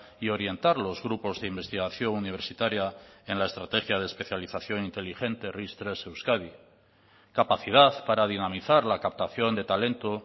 y orientar los grupos de investigación universitaria en la estrategia de especialización inteligente ris tres euskadi capacidad para dinamizar la captación de talento